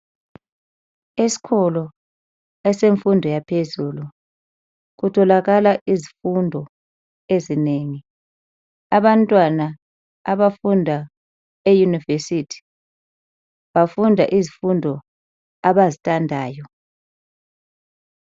Esikolo esemfundo yaphezulu kutholakala izifundo ezinengi abantwana abafunda eUniversity bafunda izifundo abazithandayo.